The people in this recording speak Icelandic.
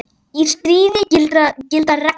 Í stríði gilda reglur.